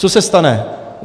Co se stane?